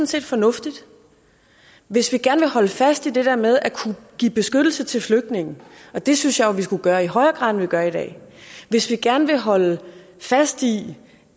set fornuftigt hvis vi gerne vil holde fast i det der med at kunne give beskyttelse til flygtninge og det synes jeg jo vi skulle gøre i højere grad end vi gør i dag og hvis vi gerne vil holde fast i